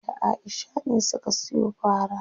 Fatima da Aisha ne suka siyo fara.